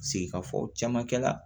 Segin ka fɔ caman kɛla